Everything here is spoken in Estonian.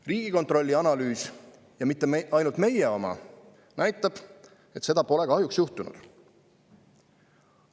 Riigikontrolli analüüs – ja mitte ainult meie oma – näitab, et seda pole kahjuks juhtunud.